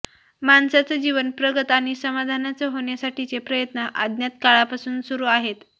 माणसाचं जीवन प्रगत आणि समाधानाचं होण्यासाठीचे प्रयत्न अज्ञात काळापासून सुरू आहेत